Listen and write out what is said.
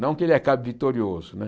Não que ele acabe vitorioso, né?